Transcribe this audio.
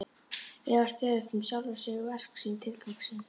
Efast stöðugt um sjálfan sig, verk sín, tilgang sinn.